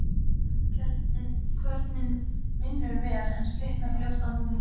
Kvörnin vinnur vel, en slitnar fljótt af núningnum.